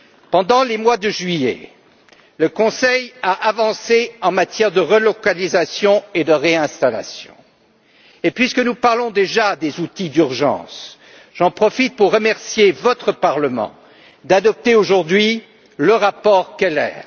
Pendant le mois de juillet, le Conseil a avancé en matière de relocalisation et de réinstallation et puisque nous parlons déjà des outils d'urgence, j'en profite pour remercier votre parlement d'adopter aujourd'hui le rapport Keller.